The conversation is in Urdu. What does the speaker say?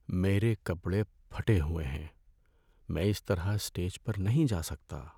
میرے کپڑے پھٹے ہوئے ہیں۔ میں اس طرح اسٹیج پر نہیں جا سکتا۔